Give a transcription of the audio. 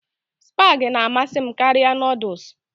Spag na-amasị m karịa Nụ́dúls